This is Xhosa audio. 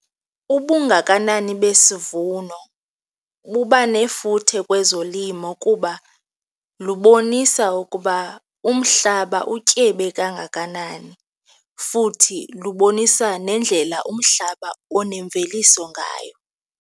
Ubungakanani besivuno buba nefuthe kwezolimo kuba lubonisa ukuba umhlaba utyebe kangakanani futhi lubonisa nendlela umhlaba onemveliso ngayo.